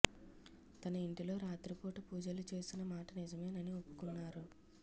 తన ఇంటిలో రాత్రిపూట పూజలు చేసిన మాట నిజమేనని ఒప్పుకున్నారు